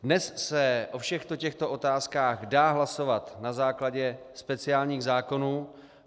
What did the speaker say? Dnes se o všech těchto otázkách dá hlasovat na základě speciálních zákonů.